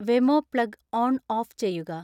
Wemo plug on off ചെയ്യുക